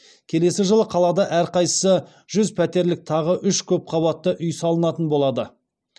келесі жылы қалада әрқайсысы жүз пәтерлік тағы үш көпқабатты үй салынатын болады